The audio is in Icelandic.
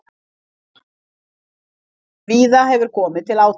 Víða hefur komið til átaka